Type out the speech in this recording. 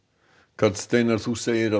karl Steinar þú segir að